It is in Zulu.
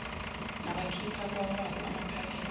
nabakhipha kwawabo amaphakethe